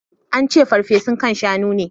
I ci farfesun kain Shaun ne.